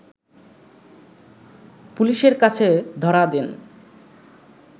পুলিশের কাছে ধরা দেন